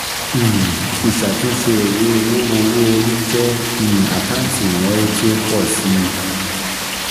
um ÌṢÀTÚNṢE ÌWÉ OWÓ owó-orí jẹ́ um àkáǹtì ìnáwó tí ó pọ̀ si.